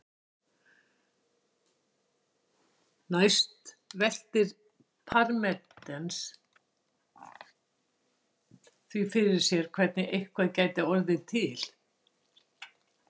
Næst veltir Parmenídes því fyrir sér hvernig eitthvað gæti hafa orðið til.